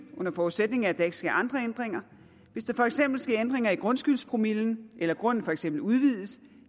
under forudsætning af at der ikke sker andre ændringer hvis der for eksempel sker ændringer i grundskyldspromillen eller grunden for eksempel udvides